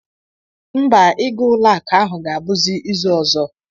Mba, ịga ụlọakụ ahụ ga-abụzi izu ọzọ